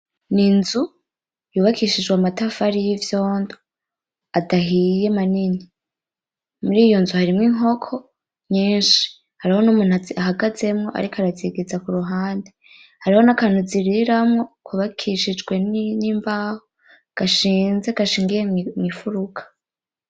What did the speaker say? Ninzu yubakishijwe amatafari yivyondo adahiye manini muriyo nzu harimwo inkoko nyinshi hariho numuntu azihagazemwo ariko arazigiza kuruhande hariho nakantu ziriramwo kubakishijwe nimbaho gashinze gashingiye mwimfuruka